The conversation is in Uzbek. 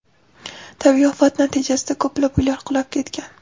Tabiiy ofat natijasida ko‘plab uylar qulab ketgan.